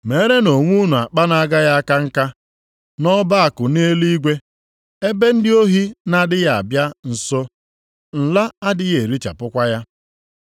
Reenụ ihe unu nwere nyekwanụ ndị ogbenye. Meerenụ onwe unu akpa na-agaghị aka nka, nʼọba akụ nʼeluigwe, ebe onye ohi na-adịghị abịa nso, nla adịghị erichapụkwa ya.